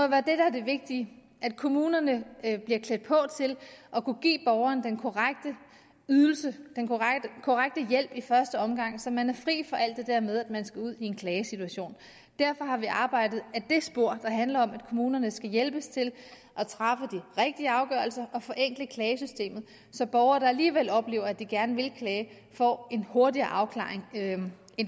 være det der er det vigtige at kommunerne bliver klædt på til at kunne give borgerne den korrekte ydelse den korrekte hjælp i første omgang så man er fri for alt det der med at man skal ud i en klagesituation derfor har vi arbejdet ad det spor der handler om at kommunerne skal hjælpes til at træffe de rigtige afgørelser og forenkle klagesystemet så borgere der alligevel oplever at de gerne vil klage får en hurtigere afklaring end